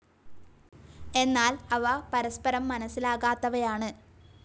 എന്നാൽ, അവ പരസ്പരം മനസ്സിലാകാത്തവയാണ്.